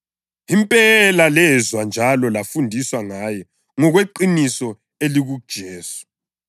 Impela lezwa njalo lafundiswa ngaye ngokweqiniso elikuJesu.